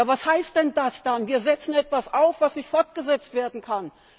Was heißt denn das dann, wir setzen etwas auf, was nicht fortgesetzt werden kann?